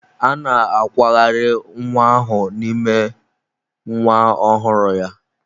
A na-akwagharị nwa ahụ n'ime nwa ọhụrụ ya.